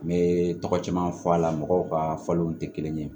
N bɛ tɔgɔ caman fɔ a la mɔgɔw ka falenw tɛ kelen ye